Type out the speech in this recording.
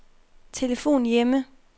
telefon hjemme